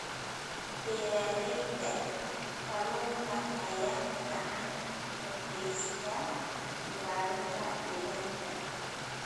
Beeralayda kalluunka ayaa gacan ka geysta ilaalinta deegaanka.